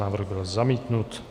Návrh byl zamítnut.